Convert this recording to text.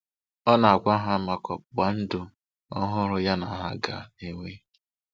Ọ na-agwa ha maka ọgbụgba ndụ ọhụrụ ya na ha ga-enwe.